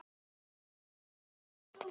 Gleymdi sér í vörn.